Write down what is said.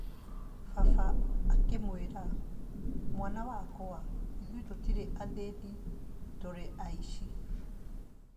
Baba akĩmwĩra,"Mwana wakwa, ithuĩ tũrĩ athĩni, tũtirĩ aici."